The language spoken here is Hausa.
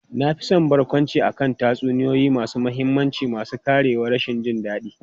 Na fi son barkwanci akan tatsuniyoyi masu mahimmanci masu ƙarewar rashin jin daɗi.